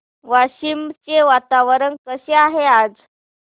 वाशिम चे वातावरण कसे आहे आज